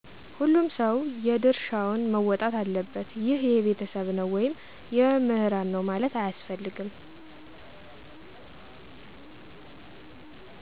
ሁሉም ሰዉ የየድሻውን መወጣት አለበት ይህ የቤተሰብ ነው ወይም የመምህራን ነው ማለት አያስፈልገም።